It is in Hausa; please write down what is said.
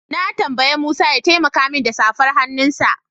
Na tambayi Musa ya taimaka min da safar hannunsa.